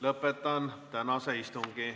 Lõpetan tänase istungi.